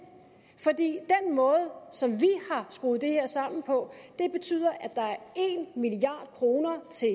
måde som vi har skruet det her sammen på betyder at der er en milliard kroner til